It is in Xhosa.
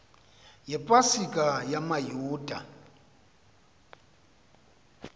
yepa sika yamayuda